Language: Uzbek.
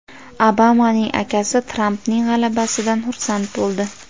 Obamaning akasi Trampning g‘alabasidan xursand bo‘ldi.